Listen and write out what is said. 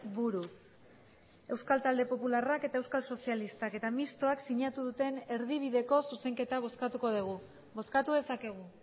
buruz euskal talde popularrak eta euskal sozialistak eta mistoak sinatu duten erdibideko zuzenketa bozkatuko dugu bozkatu dezakegu